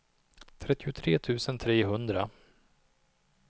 trettiotre tusen trehundra